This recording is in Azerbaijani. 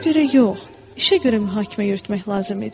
Sözə görə yox, işə görə mühakimə yürütmək lazım idi.